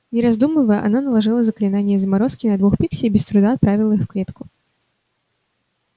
не раздумывая она наложила заклинание заморозки на двух пикси и без труда отправила их в клетку